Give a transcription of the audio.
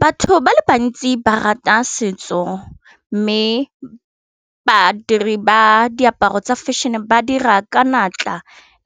Batho ba le bantsi ba rata setso mme badiri ba diaparo tsa fashion-e ba dira ka natla